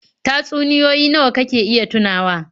Tatsunioyi nawa kake iya tunawa?